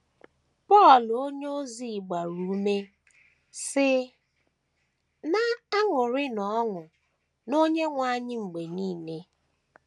Pọl onyeozi gbara ume, sị: “ Na - aṅụrịnụ ọṅụ n’Onyenwe anyị mgbe nile:...